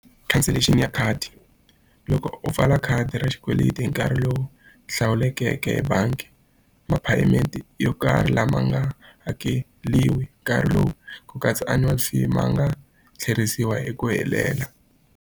Cancellation ya khadi. Loko u pfala khadi ra xikweleti hi nkarhi lowu hlawulekeke hi bangi, ma-payment yo karhi lama nga hakeriwi nkarhi lowu ku katsa annual fee ma nga tlherisiwa hi ku helela.